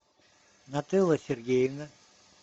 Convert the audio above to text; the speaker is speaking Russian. нателла сергеевна